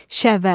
Şəvə,